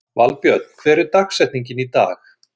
Valbjörn, hver er dagsetningin í dag?